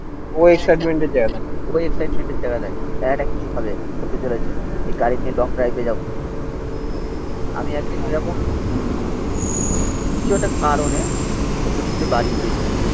ও এক্সাইটমেন্টের জায়গা দেখে জায়গাটা কিছু হবে. হতে চলেছে. এই গাড়ি নিয়ে লং ড্রাইভে যাবন আমি একদিন ওরকম কিছু একটা কারণে সৌম্যদীপদের তে বাড়ি গেছিলাম.